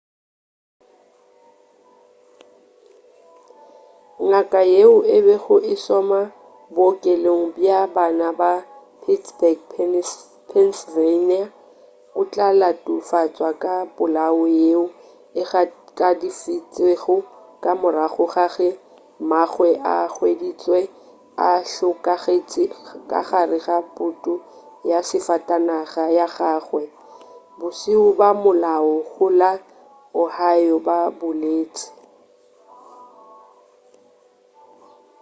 ngaka yeo e bego e šoma bookelong bja bana bja pittsburgh pennsylvania o tla latofatšwa ka polawo yeo e gakafaditšwego ka morago ga ge mmagwe a hweditšwe a hlokagetše ka gare ga putu ya safatanaga ya gagwe bašimo ba molao go la ohio ba boletši